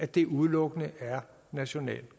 det udelukkende national